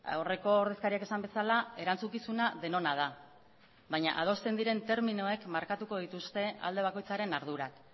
aurreko ordezkariak esan bezala erantzukizuna denona da baina adosten diren terminoek markatuko dituzte alde bakoitzaren ardurak